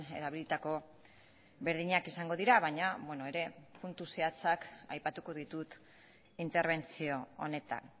erabilitako berdinak izango dira baina ere puntu zehatzak aipatuko ditut interbentzio honetan